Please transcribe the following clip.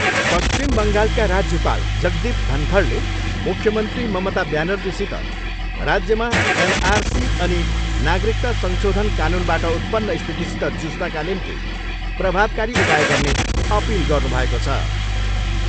पश्चिम बङ्गालका राज्यपाल जगदीप धनखडले मुख्यमन्त्री ममता ब्यानर्जीसित राज्यमा एनआरसी अनि नागरिकता संशोधन कानुनबाट उत्पन्न स्थितिसित जुझ्नका निम्ति प्रभावकारी उपाय गर्ने अपिल गर्नुभएको छ।